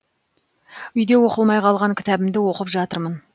үйде оқылмай қалған кітабымды оқып жатырмын